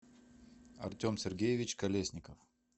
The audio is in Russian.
артем сергеевич колесников